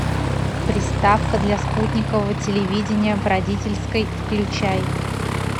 приставка для спутникового телевидения в родительской включай